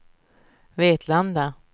Vetlanda